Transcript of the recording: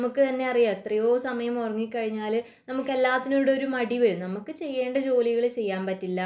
നമുക്കറിയാം എത്രയോ സമയം ഉറങ്ങിക്കഴിഞ്ഞാൽ നമ്മക്ക് എല്ലാത്തിനോടും ഒരു മടി വരും നമ്മക്ക് ചെയ്യേണ്ട ജോലികൾ ചെയ്യാൻ പറ്റില്ല